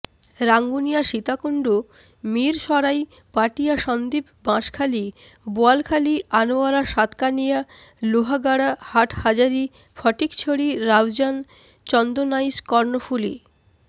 Rangunia Sitakunda Mirsarai Patiya Sandwip Banshkhali Boalkhali Anwara Satkania Lohagara Hathazari Fatikchhari Raozan Chandanaish Karnaphuli